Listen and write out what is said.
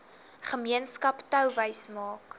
gemeenskap touwys maak